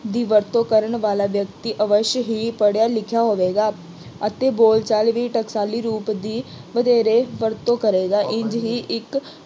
ਦੀ ਵਰਤੋਂ ਕਰਨ ਵਾਲਾ ਵਿਅਕਤੀ ਅਵੱਸ਼ਯ ਹੀ ਪੜ੍ਹਿਆ ਲਿਖਿਆ ਹੋਵੇਗਾ ਅਤੇ ਬੋਲਚਾਲ ਵਿੱਚ ਟਕਸਾਲੀ ਰੂਪ ਦੀ ਵਧੇਰੇ ਵਰਤੋਂ ਕਰੇਗਾ ਇੰਝ ਹੀ ਇੱਕ